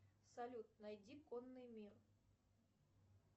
салют найди конный мир